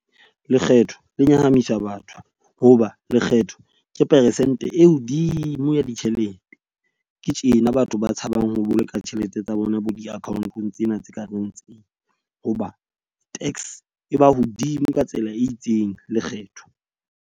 Lekgetho le nyahamisa batho hoba lekgetho ke peresente e hodimo ya ditjhelete. Ke tjena batho ba tshabang ho boloka tjhelete tsa bona bo di akhaonteng tsena tse ka reng, tseo hoba tax e ba hodimo ka tsela e itseng lekgetho.